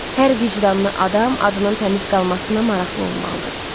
Hər vicdanlı adam adının təmiz qalmasına maraqlı olmalıdır.